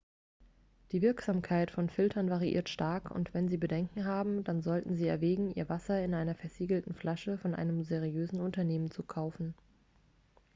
die wirksamkeit von filtern variiert stark und wenn sie bedenken haben dann sollten sie erwägen ihr wasser in einer versiegelten flasche von einem seriösen unternehmen zu kaufen